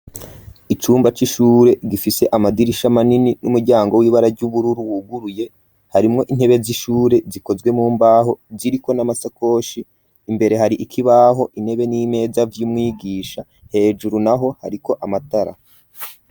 Icumba c'ishure gifise amadirisha manini n'umuryango w'ibara ry'ubururu wuguruye harimwo intebe z'ishure zikozwe mu mbaho ziriko n'amasakoshi imbere hari ikibaho intebe n'imeza vy'umwigisha hejuru naho hariko amatara.